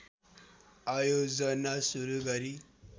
आयोजना सुरु गरी